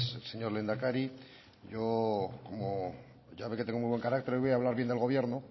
señor lehendakari como ya ve que tengo buen carácter hoy voy a hablar bien del gobierno